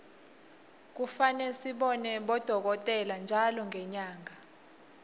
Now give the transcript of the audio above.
kufane sibone bodokotela ntjalo ngenyanga